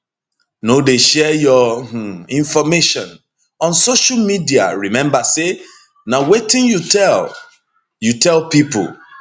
no dey share your um information on social mediaremember say na wetin you tell you tell pipo